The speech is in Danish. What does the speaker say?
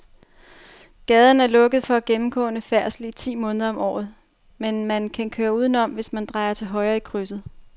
Gaden er lukket for gennemgående færdsel ti måneder om året, men man kan køre udenom, hvis man drejer til højre i krydset.